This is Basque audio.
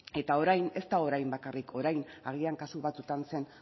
eta orain ez da orain bakarrik orain agian kasu batzuetan zen